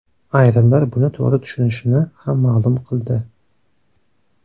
Ayrimlar buni to‘g‘ri tushunishini ham ma’lum qildi.